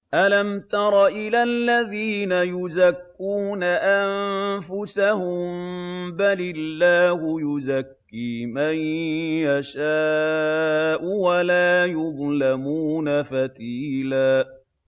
أَلَمْ تَرَ إِلَى الَّذِينَ يُزَكُّونَ أَنفُسَهُم ۚ بَلِ اللَّهُ يُزَكِّي مَن يَشَاءُ وَلَا يُظْلَمُونَ فَتِيلًا